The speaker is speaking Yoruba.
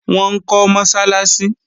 Wọ́n ń kọ́ Mọ́sálásí